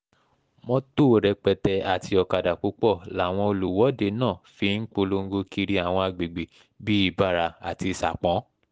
mọ́tò rẹpẹtẹ mọ́tò rẹpẹtẹ àti ọ̀kadà púpọ̀ làwọn olùwọ́de náà fi ń polongo kiri àwọn àgbègbè bíi ibara àti sapon